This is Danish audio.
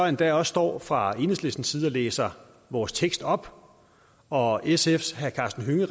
endda også står fra enhedslistens side og læser vores tekst op og sfs herre karsten hønge